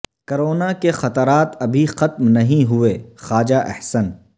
corona کے خطرات ابھی ختم نہیں ہوئے خواجہ احسن